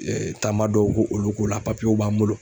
taama dɔw ko olu ko la w b'an bolo.